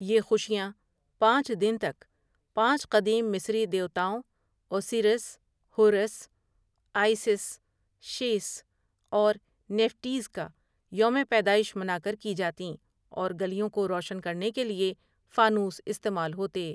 یہ خوشیاں پانچ دن تک، پانچ قدیم مصری دیوتاؤں اوسیرس، حورس، آئی سس، شیث اور نیفٹیز کا یوم پیدائش منا کر کی جاتیں اور گلیوں کو روشن کرنے کے لیے فانوس استعمال ہوتے ۔